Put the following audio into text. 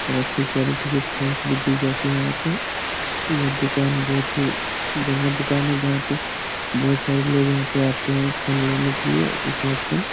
और अच्छी क़्वालिटी के फ़ोन्स भी दी जाती है यहाँ पे यह दुकान बहोत ही बढ़िया दुकान है जहाँ पे बहोत सारे लोग यहाँ पे आते हैं फ़ोन लेने के लिए स्मार्ट फ़ोन ।